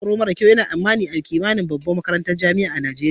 Matsatsin tsara mara kyau yana a'kimani a yawancin babban makarantan Nijeriya.